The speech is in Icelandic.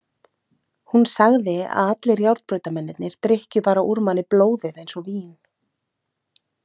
Hún sagði að allir járnbrautamennirnir drykkju bara úr manni blóðið eins og vín.